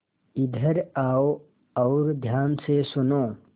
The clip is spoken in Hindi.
इधर आओ और ध्यान से सुनो